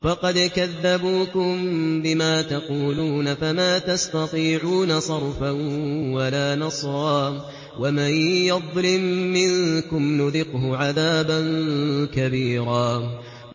فَقَدْ كَذَّبُوكُم بِمَا تَقُولُونَ فَمَا تَسْتَطِيعُونَ صَرْفًا وَلَا نَصْرًا ۚ وَمَن يَظْلِم مِّنكُمْ نُذِقْهُ عَذَابًا كَبِيرًا